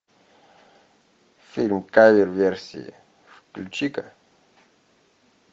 фильм кавер версии включи ка